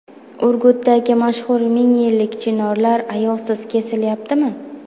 Urgutdagi mashhur ming yillik chinorlar ayovsiz kesilyaptimi?.